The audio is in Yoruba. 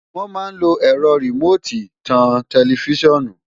Wọ́n mà lo ẹ̀rọ rìmóòtì tan tẹlifíṣọ́ọ̀nù